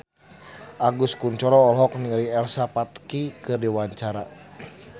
Agus Kuncoro olohok ningali Elsa Pataky keur diwawancara